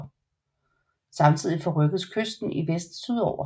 Samtidig forrykkedes kysten i vest sydover